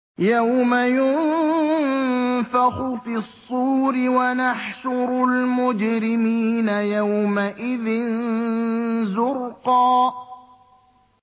يَوْمَ يُنفَخُ فِي الصُّورِ ۚ وَنَحْشُرُ الْمُجْرِمِينَ يَوْمَئِذٍ زُرْقًا